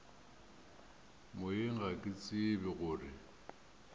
moyeng ga ke tsebe gore